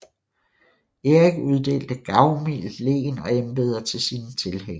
Erik uddelte gavmildt len og embeder til sine tilhængere